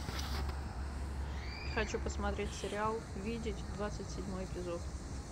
хочу посмотреть сериал видеть двадцать седьмой эпизод